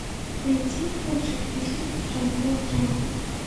найти лучший фильм жанра драма